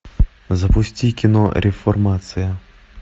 запусти кино реформация